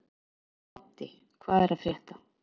Baddi, hvað er að frétta?